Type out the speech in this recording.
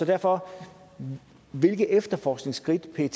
derfor hvilke efterforskningsskridt pet